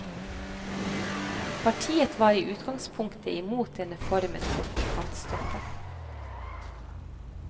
Partiet var i utgangspunktet imot denne formen for kontantstøtte.